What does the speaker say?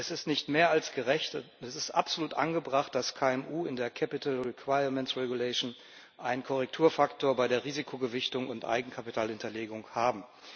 Es ist nicht mehr als gerecht es ist absolut angebracht dass KMU in der Eigenkapitalverordnung einen Korrekturfaktor bei der Risikogewichtung und Eigenkapitalhinterlegung haben.